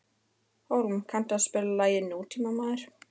Hólm, kanntu að spila lagið „Nútímamaður“?